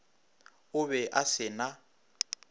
o be a se na